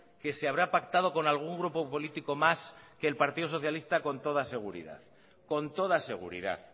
que se habrá pactado con algún grupo político más que el partido socialista con toda seguridad con toda seguridad